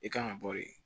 I kan ka bɔ yen